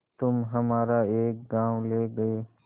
तुम हमारा एक गॉँव ले गये